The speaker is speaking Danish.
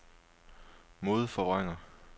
modforvrænger